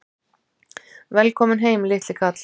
Velkominn heim, litli kall!